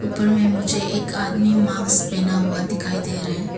ऊपर में मुझे एक आदमी मास्क पहना हुए दिखाई दे रहे हैं।